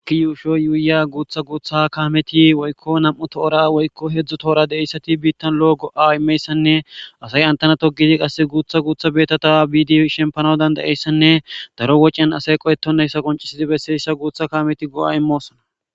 Issi yushuwa yuyiya guta guta kameti nam'u tora woykko hedzdzu tora bittani issi lo go'a immiya asay eta togidi issi besa bidi shemipanawu danidayiyo issane daro wachiyan asayi qohetidi bessiya guta kameti go'a immosona.